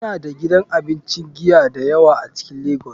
Muna da gidan abincin giya da yawa a cikin lagos.